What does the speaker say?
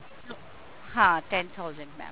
ਹਾਂ ten thousand mam